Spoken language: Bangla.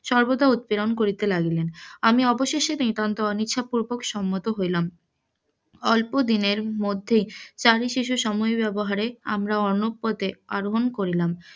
সবর্দা উৎপীড়ন করিতে লাগিলেন, আমি অবশেষে নিতান্তই অনিচ্ছা পুর্বক সম্মত হইলাম, অল্পদিনের মধ্যে চারি শিশু সময় ব্যবহারে আমরা অন্য পথে আরোহন করিলাম,